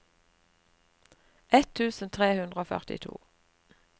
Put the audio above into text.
ett tusen tre hundre og førtito